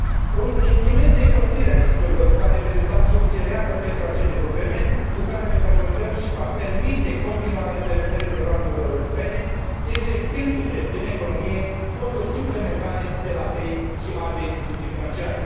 Un instrument de împărțire a riscurilor va reprezenta o soluție reală pentru aceste probleme cu care ne confruntăm și va permite continuarea implementării programelor europene injectându se în economie fonduri suplimentare de la BEI și alte instituții financiare.